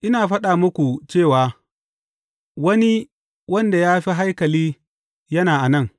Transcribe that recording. Ina faɗa muku cewa wani wanda ya fi haikali yana a nan.